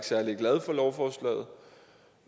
særlig glad for lovforslaget